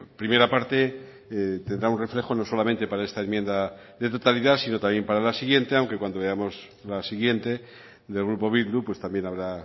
primera parte tendrá un reflejo no solamente para esta enmienda de totalidad sino también para la siguiente aunque cuando veamos la siguiente del grupo bildu pues también habrá